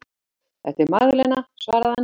Þetta er Magdalena, svaraði hann.